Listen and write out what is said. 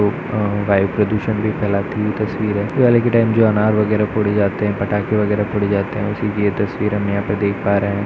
आ आ वायु प्रदूषण भी फैलाती है यह तस्वीरें दिवाली के टाइम जो अनार वगैरह फोड़े जाते हैं पटाखे वगैरह फोड़े जाते हैं उसी की सब तस्वीरें हम यहाँ पर देख पा रहें हैं।